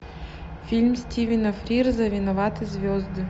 фильм стивена фрирза виноваты звезды